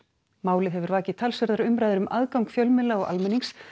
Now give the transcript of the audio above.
málið hefur vakið talsverðar umræður um aðgang fjölmiðla og almennings